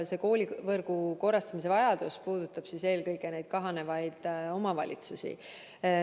Koolivõrgu korrastamise vajadus puudutab eelkõige kahaneva omavalitsusi.